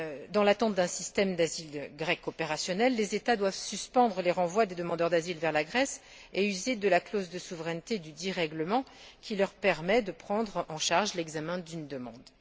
Dans l'attente d'un système d'asile grec opérationnel, les États doivent suspendre les renvois des demandeurs d'asile vers la Grèce et user de la clause de souveraineté dudit règlement qui leur permet de prendre en charge l'examen d'une demande.